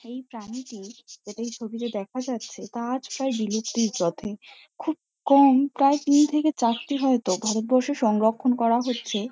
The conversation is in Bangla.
এই প্রাণীটি যেটা এই ছবিতে দেখা যাচ্ছে তা আজ প্রায় বিলুপ্তির পথে। খুব কম প্রায় তিন থেকে চারটি হয়তো ভারতবর্ষে সংরক্ষণ করা হচ্ছে।